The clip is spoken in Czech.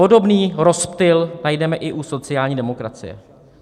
Podobný rozptyl najdeme i u sociální demokracie.